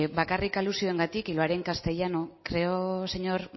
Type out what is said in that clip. bakarrik alusioengatik y lo haré en castellano creo señor